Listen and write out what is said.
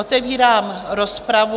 Otevírám rozpravu.